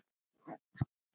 Þetta er til mín!